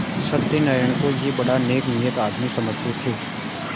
सत्यनाराण को यह बड़ा नेकनीयत आदमी समझते थे